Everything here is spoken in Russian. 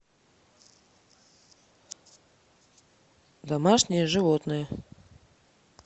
домашние животные